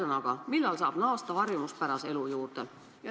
Ühesõnaga, millal saab naasta harjumuspärase elu juurde?